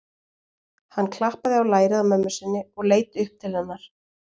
Hann klappaði á lærið á mömmu sinni og leit upp til hennar.